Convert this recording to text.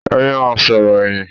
Ẹ yẹ ma sọ̀rọ̀ ẹyin.